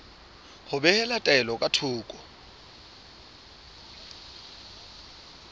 ho behela taelo ka thoko